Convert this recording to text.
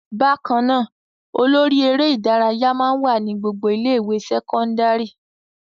Bákan náà, olórí eré-ìdárayá máa ń wà ní gbogbo ilé-ìwé sẹ́kọ́ndárì.